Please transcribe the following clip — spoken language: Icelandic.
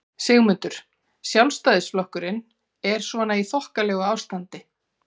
Sigmundur: Sjálfstæðisflokkurinn er svona í þokkalegu ástandi?